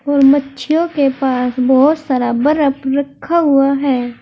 और मच्छियों के पास बोहोत सारा बरफ रखा हुआ है।